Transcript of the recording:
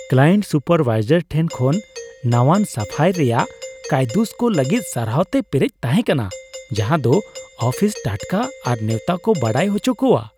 Client supervisor ᱴᱷᱮᱱ ᱠᱷᱚᱱ ᱱᱟᱣᱟᱱ ᱥᱟᱯᱷᱟᱭ ᱨᱮᱭᱟᱜ ᱠᱟᱭᱫᱩᱥ ᱠᱚ ᱞᱟᱹᱜᱤᱫ ᱥᱟᱨᱦᱟᱣ ᱛᱮ ᱯᱮᱨᱮᱡ ᱛᱟᱦᱮᱸ ᱠᱟᱱᱟ ᱡᱟᱸᱡᱟᱫᱚ ᱟᱯᱷᱤᱥ ᱴᱟᱴᱠᱟ ᱟᱨ ᱱᱮᱣᱛᱟ ᱠᱚ ᱵᱟᱰᱟᱭ ᱦᱚᱪᱚ ᱠᱚᱣᱟ ᱾